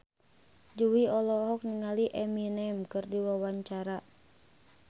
Jui olohok ningali Eminem keur diwawancara